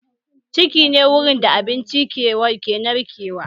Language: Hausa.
Ciki ne wurin da abinci ke narkewa